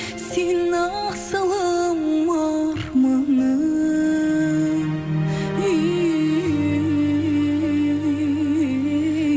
сен асылым арманым үй